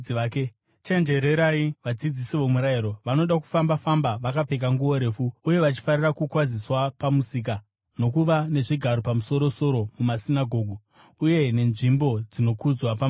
“Chenjererai vadzidzisi vomurayiro. Vanoda kufamba-famba vakapfeka nguo refu, uye vachifarira kukwaziswa pamisika, nokuva nezvigaro zvapamusoro-soro mumasinagoge uye nenzvimbo dzinokudzwa pamabiko.